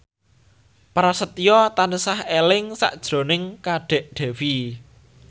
Prasetyo tansah eling sakjroning Kadek Devi